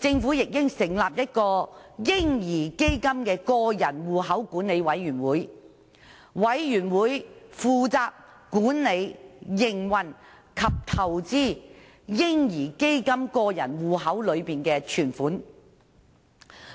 政府也應成立嬰兒基金個人戶口管理委員會，負責管理、營運和投資"嬰兒基金"個人戶口內的存款。